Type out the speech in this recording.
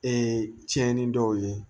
Ee tiɲɛni dɔw ye